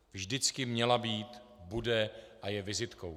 Vždycky měla být, bude a je vizitkou.